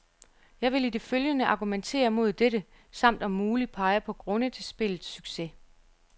Jeg vil i det følgende argumentere mod dette, samt om muligt pege på grunde til spillets succes.